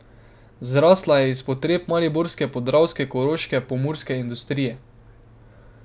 Zrasla je iz potreb mariborske, podravske, koroške, pomurske industrije.